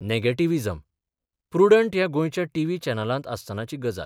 Negativism prudent ह्या गोंयच्या TV चॅनलांत आसतनाची गजाल.